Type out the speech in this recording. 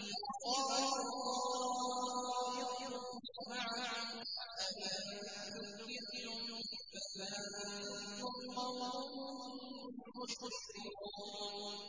قَالُوا طَائِرُكُم مَّعَكُمْ ۚ أَئِن ذُكِّرْتُم ۚ بَلْ أَنتُمْ قَوْمٌ مُّسْرِفُونَ